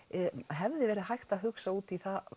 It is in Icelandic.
hefði verið hægt að hugsa út í það